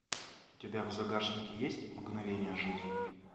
у тебя в загашнике есть мгновения жизни